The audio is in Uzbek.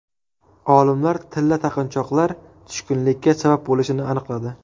Olimlar tilla taqinchoqlar tushkunlikka sabab bo‘lishini aniqladi.